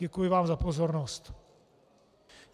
Děkuji vám za pozornost.